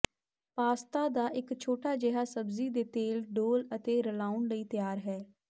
pasta ਦਾ ਇੱਕ ਛੋਟਾ ਜਿਹਾ ਸਬਜ਼ੀ ਦੇ ਤੇਲ ਡੋਲ੍ਹ ਅਤੇ ਰਲਾਉਣ ਲਈ ਤਿਆਰ ਹੈ